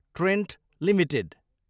Trent Ltd